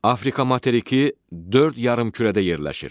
Afrika materiki dörd yarımkürədə yerləşir.